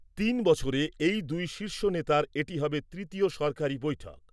তিন বছরে এই দুই শীর্ষ নেতার এটি হবে তৃতীয় সরকারি বৈঠক।